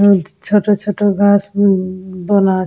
হু ছোট ছোট গাছ ব ব বোনা --